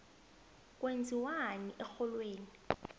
kwenziwani erholweni